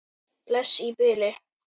Bless í bili.